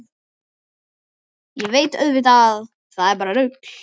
Ég veit auðvitað að það er bara rugl.